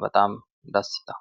bexaami dassi yitawo.